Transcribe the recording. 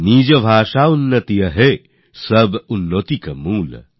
নিজ ভাষা উন্নতি অহে সব উন্নতি কো মূল